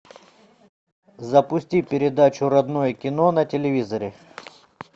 запусти передачу родное кино на телевизоре